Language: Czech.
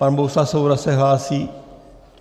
Pan Bohuslav Svoboda se hlásí?